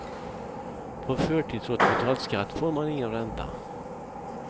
På förtidsåterbetald skatt får man ingen ränta.